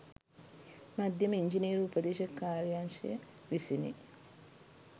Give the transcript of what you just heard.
මධ්‍යම ඉංජිනේරු උපදේශක කාර්යංශය විසිනි.